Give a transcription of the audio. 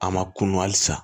A ma kunun hali san